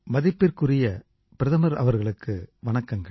மதிப்பிற்குரிய பிரதமர் அவர்களுக்கு வணக்கங்கள்